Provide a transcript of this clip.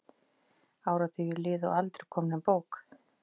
Áratugir liðu og aldrei kom nein bók.